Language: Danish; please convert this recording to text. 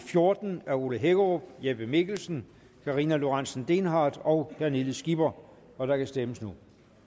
fjorten af ole hækkerup jeppe mikkelsen karina lorentzen dehnhardt og pernille skipper og der kan stemmes nu